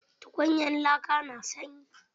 Tukunyar laka na sanyi?